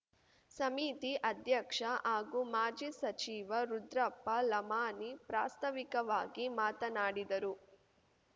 ಸಮಿತಿ ಅಧ್ಯಕ್ಷ ಹಾಗೂ ಮಾಜಿ ಸಚಿವ ರುದ್ರಪ್ಪ ಲಮಾಣಿ ಪ್ರಾಸ್ತಾವಿಕವಾಗಿ ಮಾತನಾಡಿದರು